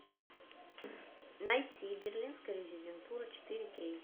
найти берлинская резидентура четыре кей